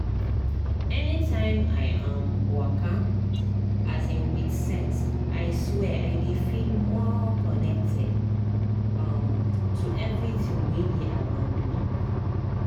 anytime i um waka um with sense i swear i dey feel more connected um to everything wey dey around me.